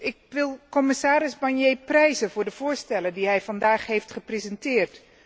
Ik prijs commissaris Barnier voor de voorstellen die hij vandaag heeft gepresenteerd.